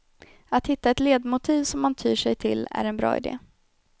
Att hitta ett ledmotiv som man tyr sig till är en bra idé.